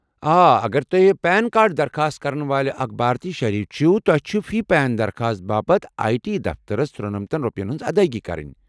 آ، اگر تۄہہِ پین کارڈ درخواست كرن والہِ اكھ بھارتی شہری چھِو ، تۄہہِ چھِ فی پین درخواست باپت آیہ ٹی دفترس ترونَمتَن روپین ہنز ادایگی كرٕنۍ۔